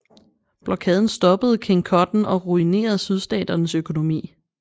Blokaden stoppede King Cotton og ruinerede Sydstaternes økonomi